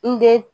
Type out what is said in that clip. N den